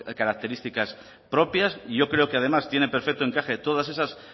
características propias y yo creo que además tienen perfecto encaje todas esas